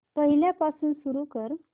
पहिल्यापासून सुरू कर